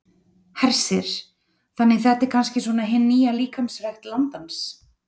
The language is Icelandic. Hersir: Þannig þetta er kannski svona hin nýja líkamsrækt landans?